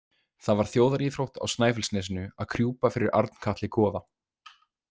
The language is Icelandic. Það var þjóðaríþrótt á Snæfellsnesinu að krjúpa fyrir Arnkatli goða.